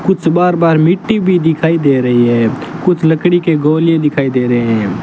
कुछ बाहर बाहर मिट्टी भी दिखाई दे रही है कुछ लकड़ी के गोले दिखाई दे रहे--